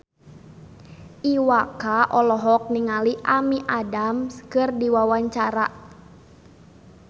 Iwa K olohok ningali Amy Adams keur diwawancara